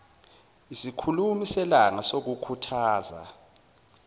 isikhulumi selanga sokukhuthaza